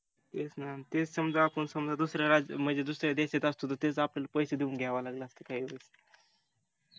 तेच समजा आपण दुस-या देशात असतो तर तेच आपल्याला पैसे देऊन घ्यायला लागल असतं